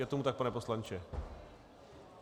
Je tomu tak, pane poslanče?